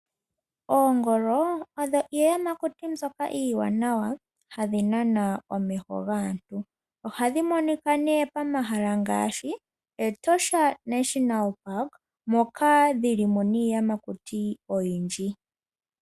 Oongolo odho iiyamakuti iiwanawa hayi nana omeho gaantu. Ohadhi monika momahala ngashi Etosha Nationa Park moka dhi li mo niiyamakuti oyindji.